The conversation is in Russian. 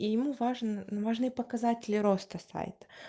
и ему важно важны показатели роста сайта